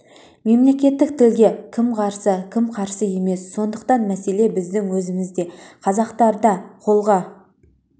мемлекеттік тілге кім қарсы кім қарсы емес сондықтан мәселе біздің өзімізде қазақтарда қолға